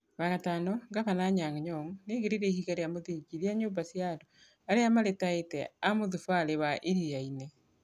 Wa gatano, Gavana, Anyang' Nyong'o nĩaigĩrĩire ihiga rĩa mũthingi rĩa nyũmba cia andũ arĩa maritaĩte a mũthubarĩ wa Iriainĩ.